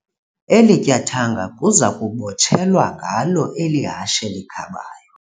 Eli tyathanga kuza kubotshelelwa ngalo eli hashe likhabayo.